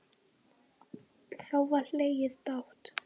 Þá var hlegið dátt.